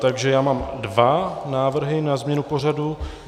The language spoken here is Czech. Takže já mám dva návrhy na změnu pořadu.